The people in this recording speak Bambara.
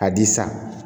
Ka di san